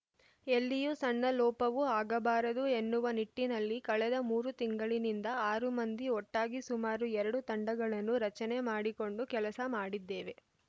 ಎಲ್ಲಿಯೂ ಸಣ್ಣ ಲೋಪವೂ ಆಗಬಾರದು ಎನ್ನುವ ನಿಟ್ಟಿನಲ್ಲಿ ಕಳೆದ ಮೂರು ತಿಂಗಳಿನಿಂದ ಆರು ಮಂದಿ ಒಟ್ಟಾಗಿ ಸುಮಾರು ಎರಡು ತಂಡಗಳನ್ನು ರಚನೆ ಮಾಡಿಕೊಂಡು ಕೆಲಸ ಮಾಡಿದ್ದೇವೆ